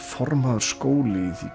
formaður skóli í því